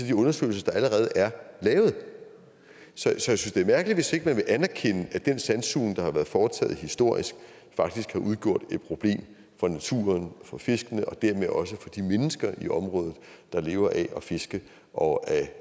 de undersøgelser der allerede er lavet så jeg synes det er mærkeligt hvis ikke man vil anerkende at den sandsugning der har været foretaget historisk faktisk har udgjort et problem for naturen for fiskene og dermed også for de mennesker i området der lever af at fiske og af